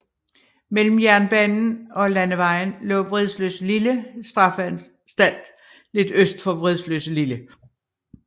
Mellem jernbanen og landevejen lå Vridsløselille straffeanstalt lidt øst for Vridsløselille